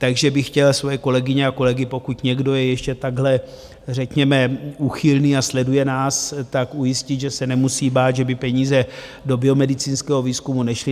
Takže bych chtěl svoje kolegyně a kolegy, pokud někdo je ještě takhle řekněme úchylný a sleduje nás, tak ujistit, že se nemusí bát, že by peníze do biomedicínského výzkumu nešly.